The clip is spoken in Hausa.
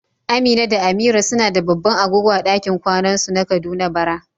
Amina da Amira suna da babban agogo a dakin kwanan su na Kaduna bara.